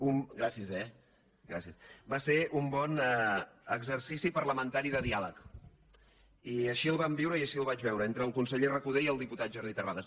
gràcies eh gràcies va ser un bon exercici parlamentari de diàleg i així ho vam viure i així ho vaig veure entre el conseller recoder i el diputat jordi terrades